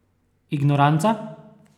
Ignoranca?